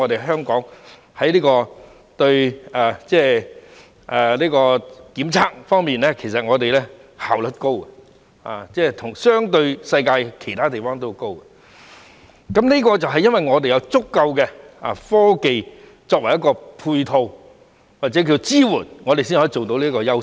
香港在檢測方面的效率很高，相對於世界其他地方也很高，這是由於我們有足夠的科技作為配套或支援，才可以發揮這個優勢。